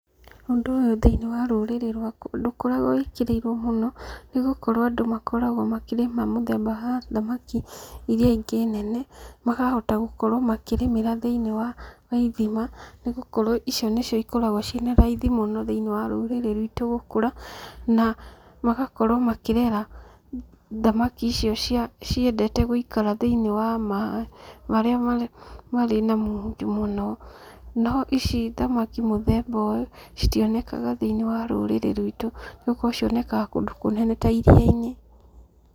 Ũndũ ũyũ thĩ-inĩ wa rũrĩrĩ rwakwa ndũkoragwo wĩkĩrĩirwo mũno, nĩ gũkorwo andũ makoragwo makĩrĩma muthemba wa thamaki iria ingi nene, makahota gũkorwo makĩrĩmĩra thĩ-ini wa ithima, nĩ gũkorwo icio nĩcio ikoragwo ciĩ na raithi mũno thĩ-ini wa rũrĩrĩ rwitũ gũkũra, na magakorwo makĩrera thamaki icio cia ciendete gũikara thĩ-ini wa maaĩ marĩa marĩ marĩ na munju mũno. No ici thamaki muthemba ũyũ citionekanaga thĩi-inĩ wa rũrĩrĩ rwitũ, nĩgũkorwo cionekaga kũndũ kũnene ta iria-inĩ.